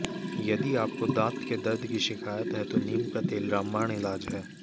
यदि आपको दांत के दर्द की शिकायत है तो नीम का तेल रामबाण इलाज है